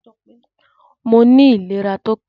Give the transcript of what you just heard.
Moní ìléra tópé